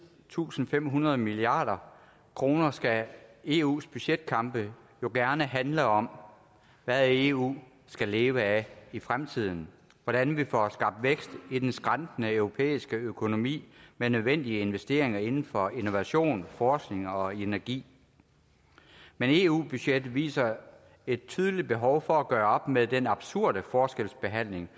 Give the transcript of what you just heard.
tusind fem hundrede milliard kroner skal eus budgetkampe jo gerne handle om hvad eu skal leve af i fremtiden og hvordan vi får skabt vækst i den skrantende europæiske økonomi med nødvendige investeringer inden for innovation forskning og energi men eu budgettet viser et tydeligt behov for at gøre op med den absurde forskelsbehandling